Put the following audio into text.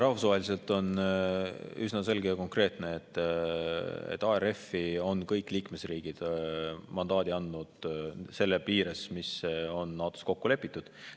Rahvusvaheliselt on üsna selge ja konkreetne, et ARF-i on kõik liikmesriigid mandaadi andnud selle piires, mis on NATO-s kokku lepitud.